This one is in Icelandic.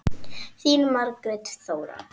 Þín, Margrét Þóra.